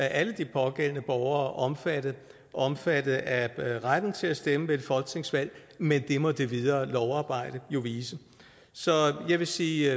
alle de pågældende borgere omfattet omfattet af retten til at stemme ved et folketingsvalg men det må det videre lovarbejde jo vise så jeg vil sige